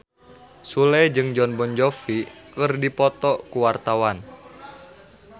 Sule jeung Jon Bon Jovi keur dipoto ku wartawan